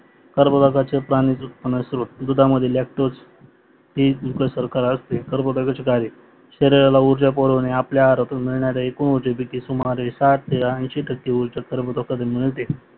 कार्बोदकाचे पाण्याचे उत्पनाचे स्वरूप दुधामध्य लॅक्टोस हे उप सरकार असते कार्बोदकाचे कार्य शरीराला ऊर्जापुरवणे आपल्या आरोग्य मिळणारे एकूण होते सुमारे ते टक्के ऊर्जा कार्बोदकातून मिळते